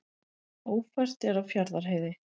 Ófært er á Fjarðarheiði